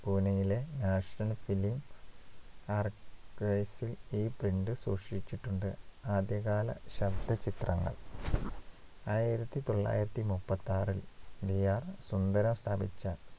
പൂനെയിലെ national film archives ൽ ഈ print സൂക്ഷിച്ചിട്ടുണ്ട് ആദ്യകാല ശബ്ദ ചിത്രങ്ങൾ ആയിരത്തിതൊള്ളായിരത്തിമുപ്പത്തിയാറിൽ TR സുന്ദരം സ്ഥാപിച്ച